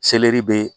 be